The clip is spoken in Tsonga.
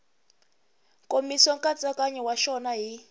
nkomiso nkatsakanyo wa xona hi